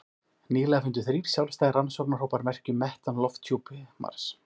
Nýlega fundu þrír sjálfstæðir rannsóknarhópar merki um metan í lofthjúpi Mars.